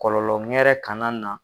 Kɔlɔlɔ ŋɛrɛ kana na